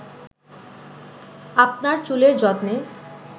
আপনার চুলের যত্নে